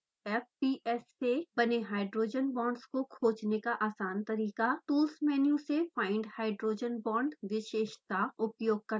fps से बने hydrogen bonds को खोजने का आसान तरीका tools मेन्यु से find hydrogen bond विशेषता उपयोग करना है